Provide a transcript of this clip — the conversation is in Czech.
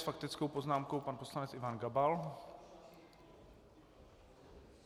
S faktickou poznámkou pan poslanec Ivan Gabal.